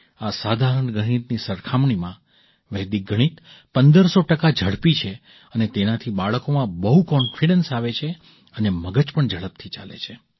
આ સાધારણ ગણિતની સરખામણીમાં વૈદિક ગણિત પંદરસો ટકા ઝડપી છે અને તેનાથી બાળકોમાં બહુ કૉન્ફિડન્સ આવે છે અને મગજ પણ ઝડપથી ચાલે છે